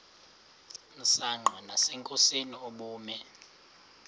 msanqa nasenkosini ubume